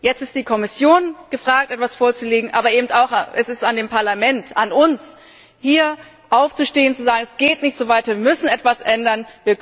Jetzt ist die Kommission gefragt, etwas vorzulegen, aber es ist eben auch am Parlament an uns hier aufzustehen und zu sagen Es geht nicht so weiter, wir müssen etwas ändern!